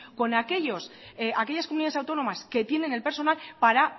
o no con aquellas comunidades autónomas que tiene el personal para